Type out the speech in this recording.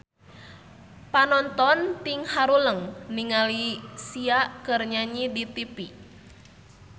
Panonton ting haruleng ningali Sia keur nyanyi di tipi